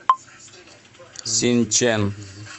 синчэн